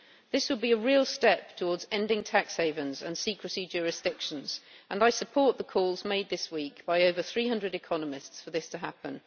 This would be a real step towards ending tax havens and secrecy jurisdictions and I support the calls made this week by over 300 economists for this to happen.